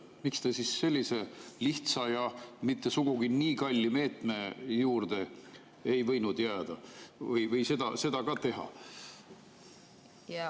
Miks te siis sellise lihtsa ja mitte sugugi nii kalli meetme juurde ei võinud jääda või seda ka teha?